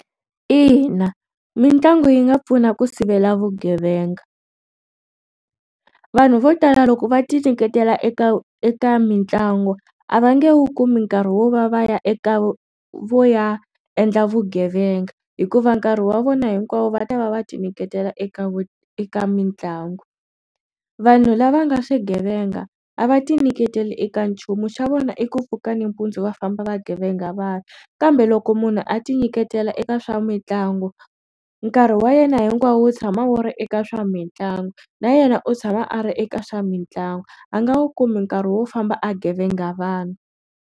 Ina, mitlangu yi nga pfuna ku sivela vugevenga vanhu vo tala loko va ti nyiketela eka eka mitlangu a va nge wu kumi nkarhi wo va va ya eka vo ya endla vugevenga hikuva nkarhi wa vona hinkwavo va ta va va ti nyiketela eka eka mitlangu vanhu lava nga swigevenga a va ti nyiketela eka nchumu xa vona i ku pfuka nampundzu va famba vagevenga vanhu kambe loko munhu a ti nyiketela eka swa mitlangu nkarhi wa yena hinkwawo wu tshama wu ri eka swa mitlangu na yena u tshama a ri eka swa mitlangu a nga wu kumi nkarhi wo famba a gevenga vanhu.